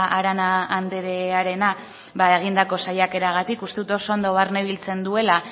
arana andrearena egindako saiakeragatik uste dut oso ondo barnebiltzen duela